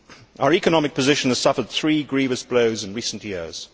Our economic position has suffered three grievous blows in recent years.